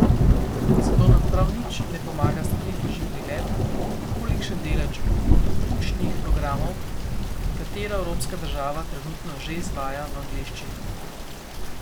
Za to nam prav nič ne pomaga statistični pregled, kolikšen delež učnih programov katera evropska država trenutno že izvaja v angleščini.